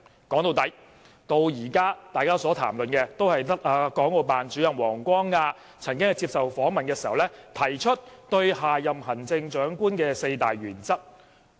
說到底，大家至今所談論的都只有國務院港澳事務辦公室主任王光亞曾經在接受訪問時，提出下任行政長官的4項原則。